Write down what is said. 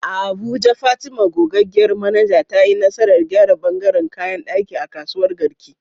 A Abuja, Fatima, gogaggiyar manaja, ta yi nasarar gyara ɓangaren kayan ɗaki a kasuwar Garki.